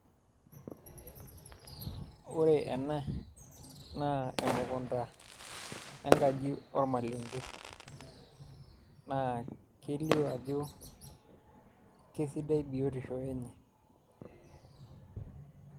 Wore ena, naa emukunda enkaji olmalenge, naa kelio ajo kesidai biotisho enye.